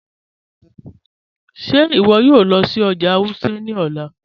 Ṣẹ iwọ yòò lọ sí ọjà Wuse ni ọlá?